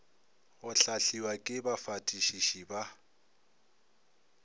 go hlahliwa ke bafatišiši ba